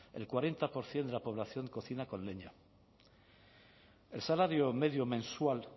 el cuarenta por ciento de la población cocina con leña el salario medio mensual